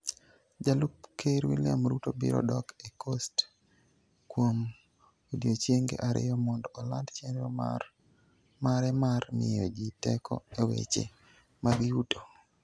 Jalup Ker William Ruto biro dok e Coast kuom odiechienge ariyo mondo oland chenro mare mar miyo ji teko e weche mag yuto.